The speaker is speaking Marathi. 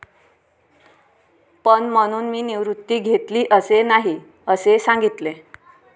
पण म्हणून मी निवृत्ती घेतली असे नाही, असे सांगितले.